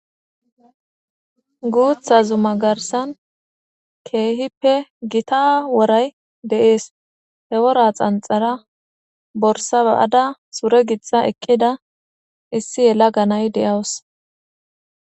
Guutha zuma garsan keehippe gita woray de'ees hewora xanxara borsa ba'ada sure gittha eqqida issi yela ganay deyawus.